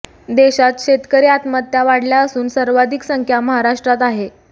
देशात शेतकरी आत्महत्या वाढल्या असून सर्वाधिक संख्या महाराष्ट्रात आहे